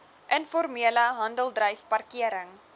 informele handeldryf parkering